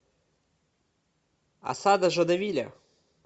осада жадовиля